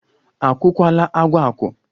A kwọkwala agwa akwọ?